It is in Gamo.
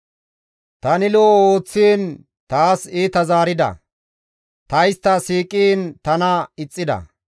Tani lo7o ooththiin taas iita zaarida; ta istta siiqiin tana ixxida.